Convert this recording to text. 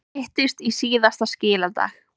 Styttist í síðasta skiladag